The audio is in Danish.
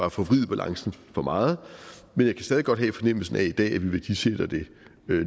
at forvride balancen for meget men jeg kan stadig væk godt have fornemmelsen af i dag at vi værdisætter det